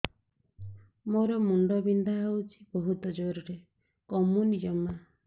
ମୋର ମୁଣ୍ଡ ବିନ୍ଧା ହଉଛି ବହୁତ ଜୋରରେ କମୁନି ଜମା